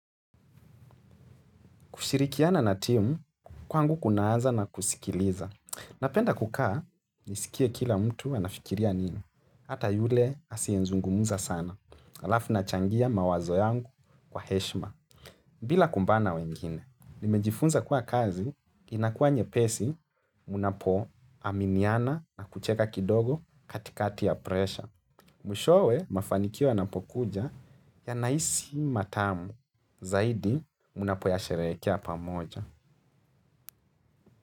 Kushirikiana na timu kwangu kunaanza na kusikiliza. Napenda kukaa, nisikie kila mtu anafikiria nini. Hata yule asiezungumza sana. Alafu nachangia mawazo yangu kwa heshima. Bila kumbana wengine. Nimejifunza kuwa kazi, inakuwa nyepesi, mnapoaminiana na kucheka kidogo katikati ya presha. Mwishowe mafanikio yanapokuja yanahisi matamu. Zaidi, mnapoyasherehekea pamoja.